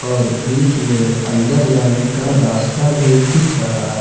और बीच में अंदर जाने का रास्ता भी दिख रहा--